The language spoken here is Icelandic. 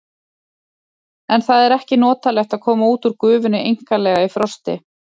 En það er ekki notalegt að koma út úr gufunni einkanlega í frosti.